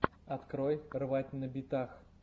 открой рвать на битах